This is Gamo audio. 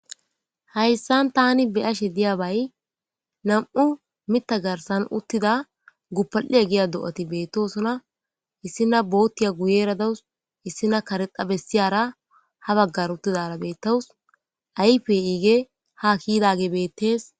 hayssan tani beashe diyabay nam7u mita garsan uttida guppa7ia giya do7ati beettosona issina boottiya guyeera dawus issina karexa bessiyara ha baggar uttidara bettawus ayfe iige ha kiidage bettees